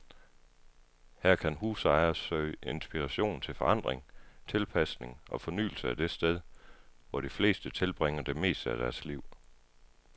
Her kan husejere søge inspiration til forandring, tilpasning og fornyelse af det sted, hvor de fleste tilbringer det meste af deres liv.